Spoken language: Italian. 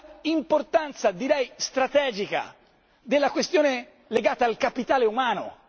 Sull'importanza direi strategica della questione legata al capitale umano?